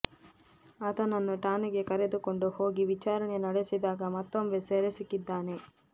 ಆತನನ್ನು ಠಾಣೆಗೆ ಕರೆದುಕೊಂಡು ಹೋಗಿ ವಿಚಾರಣೆ ನಡೆಸಿದಾಗ ಮತ್ತೊಬ್ಬ ಸೆರೆ ಸಿಕ್ಕಿದ್ದಾನೆ